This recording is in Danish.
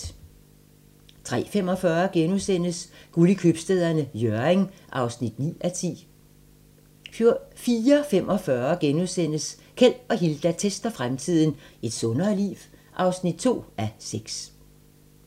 03:45: Guld i Købstæderne - Hjørring (9:10)* 04:45: Keld og Hilda tester fremtiden - Et sundere liv? (2:6)*